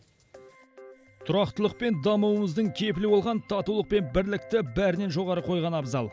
тұрақтылық пен дамуымыздың кепілі болған татулық пен бірлікті бәрінен жоғары қойған абзал